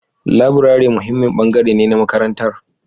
Laburare muhimmin bangare ne na makarantar